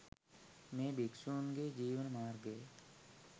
මේ භික්ෂූන් ගේ ජීවන මාර්ගය